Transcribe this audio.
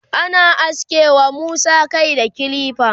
ana aske wa Musa Kai da kilifa